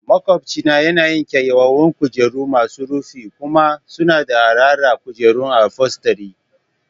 Maƙwabcina yana yin kyawawan kujeru masu rufi kuma suna da araha kujeran ufolstery